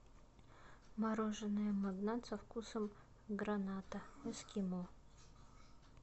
мороженое магнат со вкусом граната эскимо